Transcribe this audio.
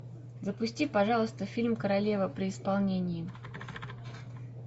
запусти пожалуйста фильм королева при исполнении